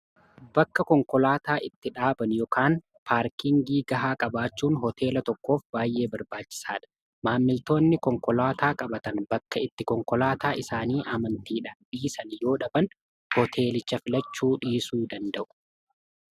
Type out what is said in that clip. bakka konkolaataa itti dhaaban yookiin paarkingii gahaa qabaachuun hooteela tokkoof baay'ee barbaachisaadha maammiltoonni konkolaataa qabatan bakka itti konkolaataa isaanii amantiidha dhiisan yoo dhaban hooteelicha filachuu dhiisuu danda'u